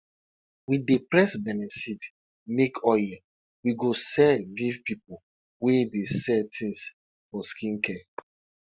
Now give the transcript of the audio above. we dey press benne seed make oil we go sell give people wey dey sell things for skin care